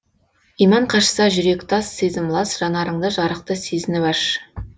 иман қашса жүрек тас сезім лас жанарыңды жарықты сезініп аш